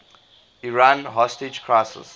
iran hostage crisis